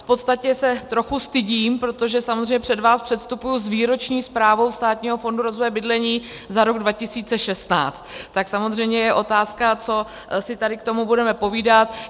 V podstatě se trochu stydím, protože samozřejmě před vás předstupuji s výroční zprávou Státního fondu rozvoje bydlení za rok 2016, tak samozřejmě je otázka, co si tady k tomu budeme povídat.